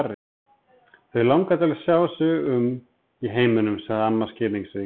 Þau langar til að sjá sig um í heiminum sagði amma skilningsrík.